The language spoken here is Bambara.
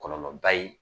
Kɔlɔlɔba ye